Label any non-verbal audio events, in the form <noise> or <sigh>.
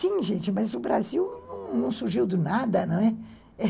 Sim, gente, mas o Brasil não surgiu do nada, não é? <unintelligible>